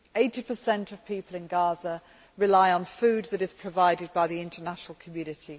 Eighty per cent of people in Gaza rely on food which is provided by the international community